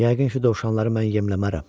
Yəqin ki, dovşanları mən yemləmərəm.